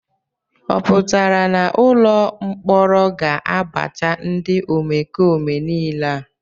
Ọ pụtara na ụlọ mkpọrọ ga-abacha ndị omekome niile a?